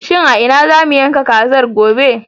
Shin a ina za mu yanka kazar, gobe?